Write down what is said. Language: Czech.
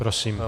Prosím.